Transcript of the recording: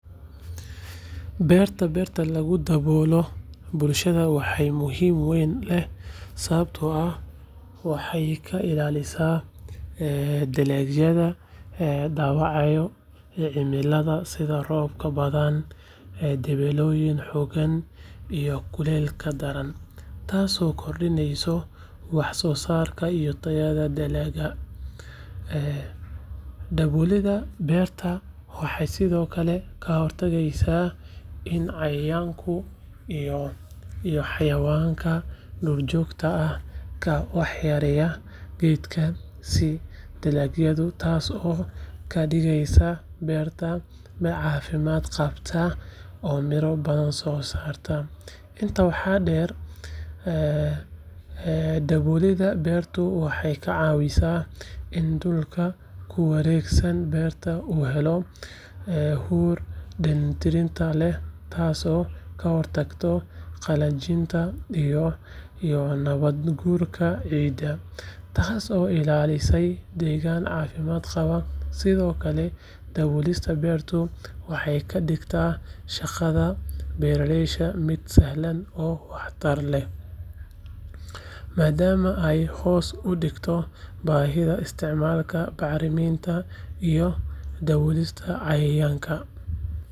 Beerta beerta lagu daboolo bulshada waxaa muhiimad weyn leh sababtoo ah waxay ka ilaalisaa dalagyada dhaawacyada cimilada sida roobab badan, dabeylo xooggan iyo kuleylka daran, taasoo kordhisa wax-soosaarka iyo tayada dalagga. Daboolida beerta waxay sidoo kale ka hortagtaa in cayayaanka iyo xayawaanka duurjoogta ah ay waxyeeleeyaan geedaha iyo dalagyada, taasoo ka dhigeysa beerta mid caafimaad qabta oo miro badan soo saarta. Intaa waxaa dheer, daboolida beertu waxay ka caawisaa in dhulka ku wareegsan beerta uu helo huur dheellitirnaan leh, taasoo ka hortagta qallajinta iyo nabaad guurka ciidda, taas oo ilaalinaysa deegaan caafimaad qaba. Sidoo kale, daboolida beertu waxay ka dhigtaa shaqada beerashada mid sahlan oo waxtar leh, maadaama ay hoos u dhigto baahida isticmaalka bacriminta iyo dawooyinka cayayaanka.